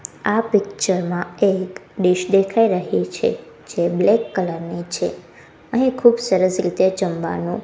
આ પિક્ચર માં એક ડિશ દેખાય રહી છે જે બ્લેક કલર ની છે અહીં ખૂબ સરસ રીતે જમવાનું--